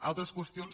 altres qüestions